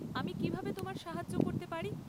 আমি কীভাবে তোমায় সাহায্য করতে পারি?